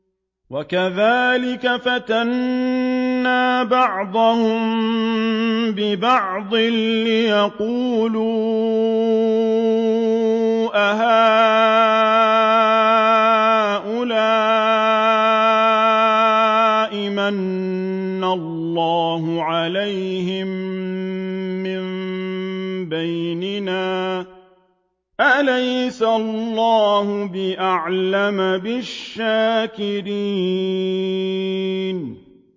وَكَذَٰلِكَ فَتَنَّا بَعْضَهُم بِبَعْضٍ لِّيَقُولُوا أَهَٰؤُلَاءِ مَنَّ اللَّهُ عَلَيْهِم مِّن بَيْنِنَا ۗ أَلَيْسَ اللَّهُ بِأَعْلَمَ بِالشَّاكِرِينَ